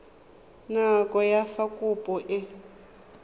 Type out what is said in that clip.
nako ya fa kopo e